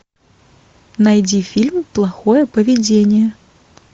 найди фильм плохое поведение